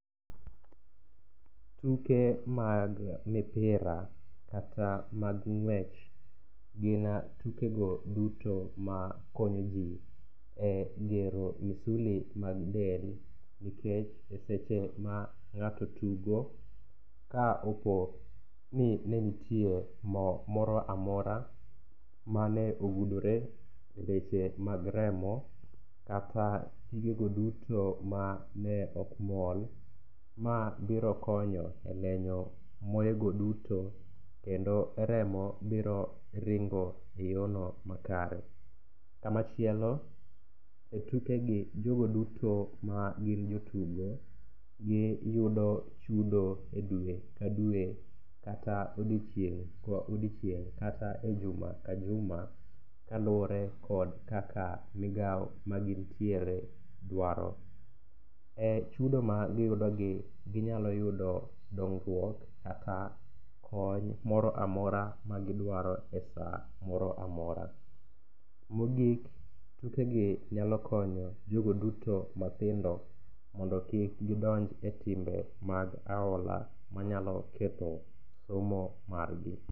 Tuke mag mipira kata mag ng'wech gin tukego duto ma konyo ji e gero misuli mag del nikech e seche ma ng'ato tugo, ka opo ni ne nitie mo moro amora mane ogudore e leche mag remo kata pigego duto mane ok mol, ma biro konyo e lenyo moyego duto kendo remo biro ringo e yorno makare. Kamachielo,e tukegi, jogo duto ma gin jotugo, giyudo chudo e dwe ka dwe kata odiochieng' ka odiochieng' kata e juma ka juma, kaluwore kod kaka migawo ma gintiere dwaro. E chudo ma giyudogi, ginyalo yudo dongruok kaka kony moro amora magidwaro e sa moro amora. Mogik, tukegi nyalo konyo jogo duto matindo mondo kik gidonj timbe mag aola manyalo ketho somo margi.